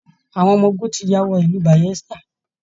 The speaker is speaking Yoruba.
Àwọn ọmọ ogun ti ya wọ ìlú Bayelsa